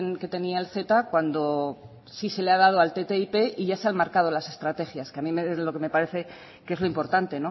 que tenía el ceta cuando sí se le ha dado al ttip y ya se han marcado las estrategias que a mí es lo que me parece que es lo importante